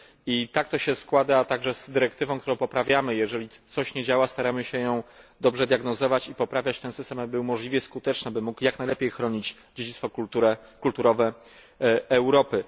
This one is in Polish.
I tak to się składa również w przypadku dyrektywy, którą poprawiamy jeżeli coś nie działa, staramy się dobrze diagnozować i poprawiać ten system, aby był możliwie skuteczny, aby mógł jak najlepiej chronić dziedzictwo kulturowe Europy.